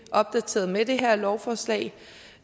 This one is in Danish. opdateret med det her lovforslag